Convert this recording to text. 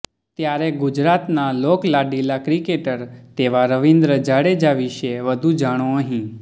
ત્યારે ગુજરાતના લોકલાડીલા ક્રિકેટર તેવા રવિન્દ્ર જાડેજા વિષે વધુ જાણો અહીં